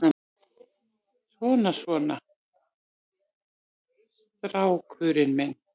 Svona, svona, strákurinn minn.